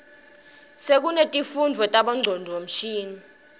sekunetifundvo tabo ngcondvomshini